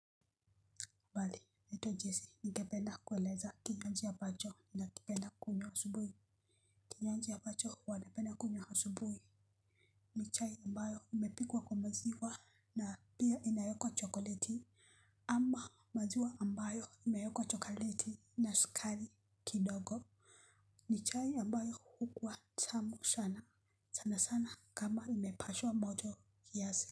Habari naitwa Jessi. Ningependa kuelezea kinywaji ambacho nakipenda kunywa asubuhi. Kinywaji ambacho huwa napenda kunywa asubuhi. Ni chai ambayo imepikwa kwa maziwa na pia inaekwa chokoleti ama maziwa ambayo imeekwa chokoleti na sukari kidogo. Ni chai ambayo hukuwa tamu sana. Sana sana kama imepashwa moto kiasi.